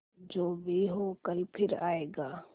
जो भी हो कल फिर आएगा